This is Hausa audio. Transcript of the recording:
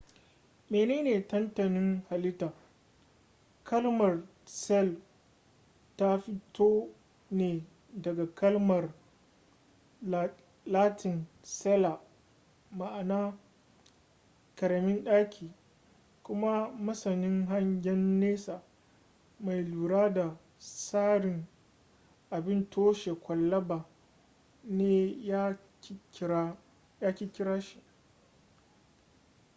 menene tantanin halitta kalmar cell ta fito ne daga kalmar latin cella ma'ana ƙaramin ɗaki kuma masanin hangen nesa mai lura da tsarin abin toshe kwalaba ne ya ƙirƙira shi